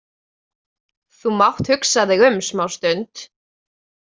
Þú mátt hugsa þig um smástund.